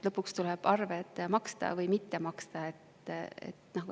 Lõpuks tuleb arved maksta või mitte maksta.